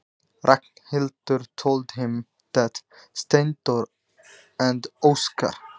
Ragnhildur sagði honum það: Steindór og Óskar.